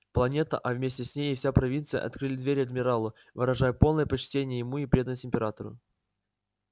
планета а вместе с ней и вся провинция открыли двери адмиралу выражая полное почтение ему и преданность императору